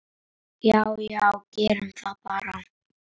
Já já, gerum það bara.